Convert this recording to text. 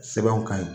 Sɛbɛnw ka ɲi